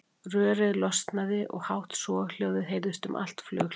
Rörið losnaði og hátt soghljóðið heyrðist um allt flughlaðið.